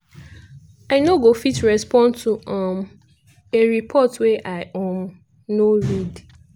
"i no go fit respond to um a report wey i um no read".